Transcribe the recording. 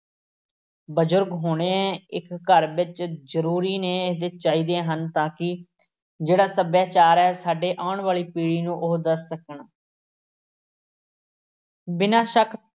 ਬਜ਼ੁਰਗ ਹੋਣੇ ਇੱਕ ਘਰ ਵਿੱਚ ਜ਼ਰੂਰੀ ਨੇ, ਅਤੇ ਚਾਹੀਦੇ ਹਨ ਤਾਂ ਕਿ ਜਿਹੜਾ ਸੱਭਿਆਚਾਰ ਹੈ ਸਾਡੇ ਆਉਣ ਵਾਲੀ ਪੀੜੀ ਨੂੰ ਉਹ ਦੱਸ ਸਕਣ ਬਿਨਾਂ ਸ਼ੱਕ